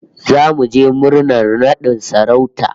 Zamu je murnar nadin sarauta